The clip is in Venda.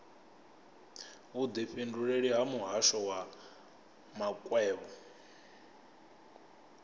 vhudifhinduleleli ha muhasho wa makwevho